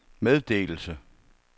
meddelelse